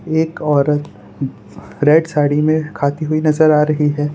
एक औरत रेड साड़ी में खाती हुई नजर आ रही है।